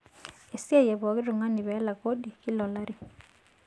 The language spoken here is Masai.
Esiai e pooki tung'gani pee elak kodi kila olari.